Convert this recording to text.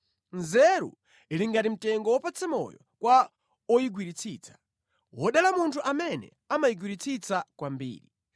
Nzeru ili ngati mtengo wopatsa moyo kwa oyigwiritsitsa; wodala munthu amene amayigwiritsa kwambiri.